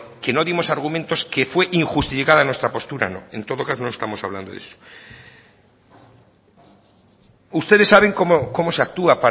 que no dimos argumentos que fue injustificada nuestra postura no en todo caso no estamos hablando de eso ustedes saben cómo se actúa